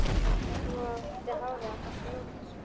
Nú átti hárið að fá að njóta sín.